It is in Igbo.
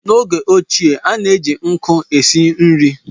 N’oge ochie, a na-eji nkụ esi nri